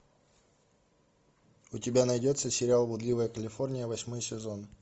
у тебя найдется сериал блудливая калифорния восьмой сезон